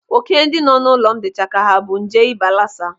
Óké ndị nọ n'ụlọ m dịcha ka ha bu nje ịba lasa.